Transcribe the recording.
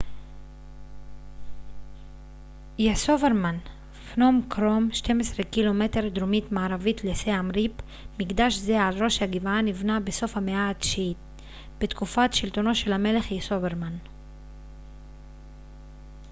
"פנום קרום 12 ק""מ דרומית־מערבית לסיאם ריפ. מקדש זה על ראש הגבעה נבנה בסוף המאה ה־9 בתקופת שלטונו של המלך יסוברמן yasovarman.